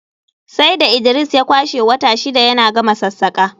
sai da Idris ya kwashe wata shida yana gama sassaƙa